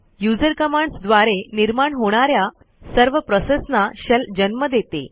user commands द्वारे निर्माण होणा या सर्व प्रोसेसना शेल जन्म देते